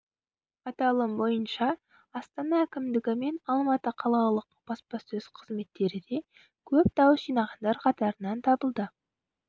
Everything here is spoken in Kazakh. аталым бойынша астана әкімдігі мен алматы қалалық баспасөз қызметтері де көп дауыс жинағандар қатарынан табылды